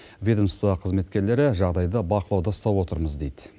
ведомство қызметкерлері жағдайды бақылауда ұстап отырмыз дейді